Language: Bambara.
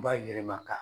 Ba yɛlɛma ka